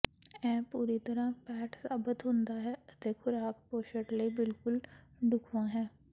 ਇਹ ਪੂਰੀ ਤਰ੍ਹਾਂ ਫੈਟ ਸਾਬਤ ਹੁੰਦਾ ਹੈ ਅਤੇ ਖੁਰਾਕ ਪੋਸ਼ਣ ਲਈ ਬਿਲਕੁਲ ਢੁਕਵਾਂ ਹੈ